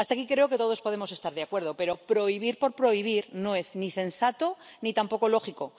Hasta aquí creo que todos podemos estar de acuerdo, pero prohibir por prohibir no es ni sensato ni tampoco lógico.